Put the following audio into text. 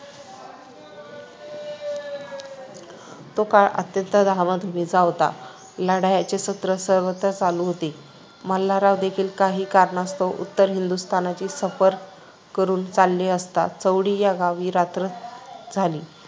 तो काळ अत्यंत धामधुमीचा होता. लढायांचे सत्र सर्वत्र चालू होते. मल्हाररावदेखील काही कारणास्तव उत्तर हिंदुस्थानची सफर करून चालले असता चौंडी या गावी रात्र झाली.